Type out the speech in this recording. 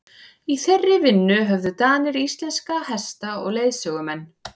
í þeirri vinnu höfðu danirnir íslenska hesta og leiðsögumenn